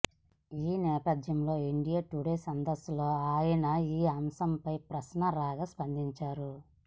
ఈ నేపథ్యంలో India Today సదస్సులో ఆయన ఈ అంశంపై ప్రశ్న రాగా స్పందించారు